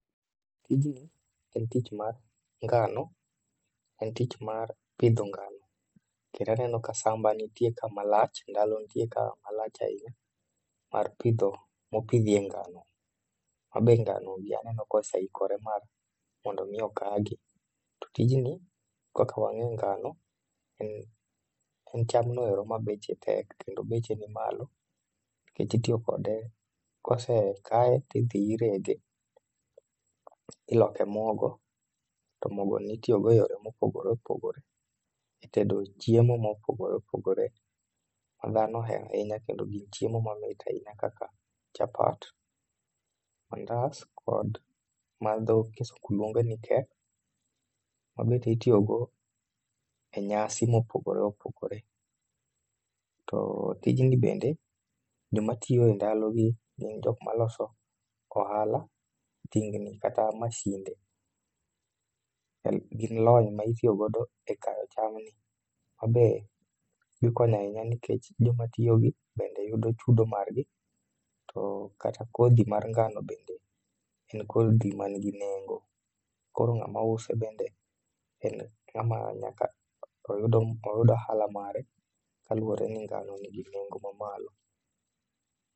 Tijni en tich man ngano, en tich mar pidho ngano. Kendaneno ka samba nitie ka malach, ndalo nitie ka malach ahinya. Mar pidho, mo pidhie ngano. Ma be ngano gi aneno koseikore mar mondo mi okagi. To tijni, kaka wang'e ngano, en cham noero ma beche tek kendo beche ni malo. Nikech itiyo kode kose kaye tidhi irege, iloke mogo to mogo ni itiyogo e yore mopogore opogore e tedo chiemo mopogore opogore. Ma dhano ohero ahinya kendo gin chiemo mamit ahinya kaka chapat, mandas, kod madho kisungu luongo ni cake, ma bende itiyogo e nyasi mopogore opogore. To tijni bende, jomatiyo e ndalo gi gin jomaloso ohala, tingni kata masinde. Gin lony ma itiyogodo e kayo cham ni, ma be giko ni ahinya joma tiyo gi bende yudo chudo margi. To kata kodhi mar ngano bende en kodhi man gi nengo. Koro ng'amo use bende en ng'ama nyaka oyud ohala mare kaluwore ni ngano nigi nengo ma malo.